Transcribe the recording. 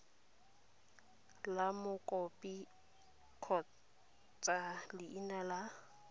la mokopi kgotsa leina la